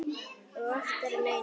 Og oftar en einu sinni.